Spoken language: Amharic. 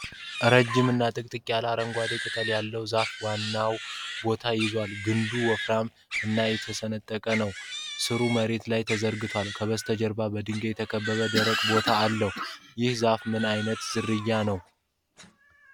ረዥም እና ጥቅጥቅ ያለ አረንጓዴ ቅጠል ያለው ዛፍ ዋናው ቦታ ይዟል። ግንዱ ወፍራም እና የተሰነጠቀ ነው። ሥሩ መሬት ላይ ተዘርግቷል፤ ከበስተጀርባ በድንጋይ የተከበበ ደረቅ ቦታ አለ። ይህ ዛፍ ምን ዓይነት ዝርያ ነው?